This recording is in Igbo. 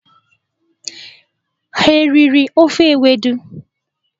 Ha riri ofe ewedu?